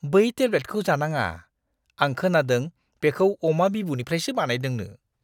बै टेब्लेटखौ जानाङा! आं खोनादों बेखौ अमा-बिबुनिफ्रायसो बानायदोंनो!